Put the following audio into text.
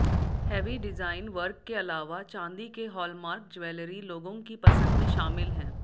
heavy design work के अलावा चांदी के हालमार्क ज्वैलरी लोगों की पसंद में शामिल हैं